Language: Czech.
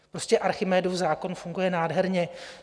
Prostě Archimedův zákon funguje nádherně.